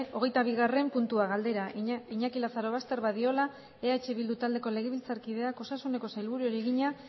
hogeita bigarren puntua galdera iñaki lazarobaster badiola eh bildu taldeko legebiltzarkideak osasuneko sailburuari egina